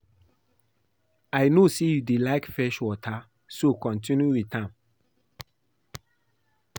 I no say you dey like fetch water so continue with am